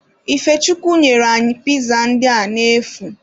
Ifechukwu nyere anyị piza ndị a n'efu.